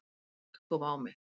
Hik kom á mig.